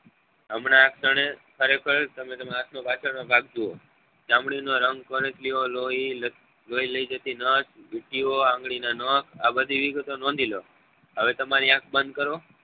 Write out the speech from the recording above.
હમણાં ખરેખર તમે તમારા હાથ નો પાછળ નો ભાગ જૂવો ચામડી નો રંગ કરચલીઓ લોહી લોહી લઇ જતી નસ આ બધી વિગતો નોંધી લો